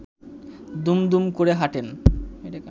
দুমদুম করে হাঁটেন